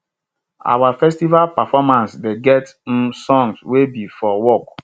our festival performance dey get um songs wey be for work